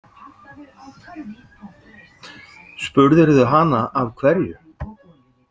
Spurðirðu hana af hverju?